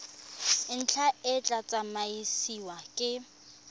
ntlha e tla tsamaisiwa ke